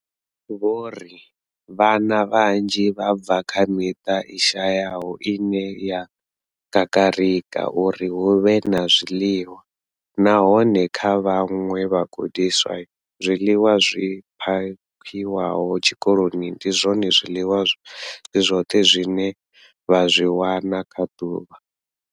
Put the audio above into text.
Vho ri, Vhana vhanzhi vha bva kha miṱa i shayaho ine ya kakarika uri hu vhe na zwiḽiwa, nahone kha vhaṅwe vhagudiswa, zwiḽiwa zwi phakhiwaho tshikoloni ndi zwone zwiḽiwa zwi zwoṱhe zwine vha zwi wana kha ḓuvha.